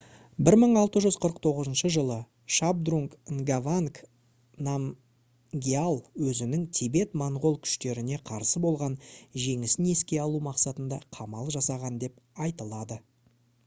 1649 жылы шабдрунг нгаванг намгьял өзінің тибет-моңғол күштеріне қарсы болған жеңісін еске алу мақсатында қамал жасаған деп айтылады